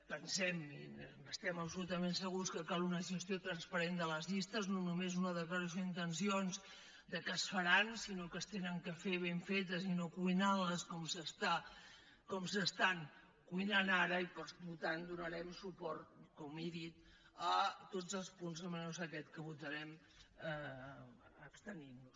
pensem i estem absolutament segurs que cal una gestió transparent de les llistes no només una declaració d’intencions que es faran sinó que s’han de fer ben fetes i no cuinant les com s’estan cuinant ara i per tant donarem suport com he dit a tots els punts menys a aquest que votarem abstenint nos